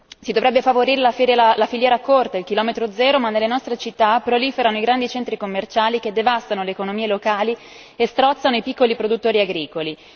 Si dovrebbe favorire la filiera corta, il chilometro zero, ma nelle nostre città proliferano i grandi centri commerciali che devastano le economie locali e strozzano i piccolo produttori agricoli.